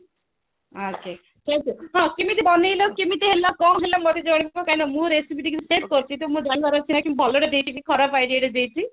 ଆଚ୍ଛା ତ କେମିତି ବନେଇଲ କେମିତି ହେଲା କଣ ହେଲା ମତେ ଜଣେଇବ କାହିଁକି ନା ମୁଁ recipe check କରୁଛି ତ ମୋର ଜାଣିବାର ଅଛି କି ମୁଁ ଭଲରେ ଦେଇଛି କି ଖରାପ idea ଟେ ଦେଇଛି